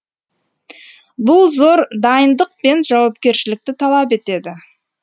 бұл зор дайындық пен жауапкершілікті талап етеді